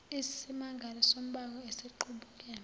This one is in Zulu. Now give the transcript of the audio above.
isimangalo sombango esiqubuke